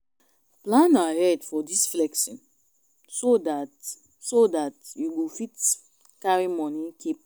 plan ahead for di flexing so dat so dat you go fit carry money keep